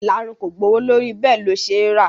Ìlarun kò gbowó lórí bẹ́ẹ̀ ó ṣe rà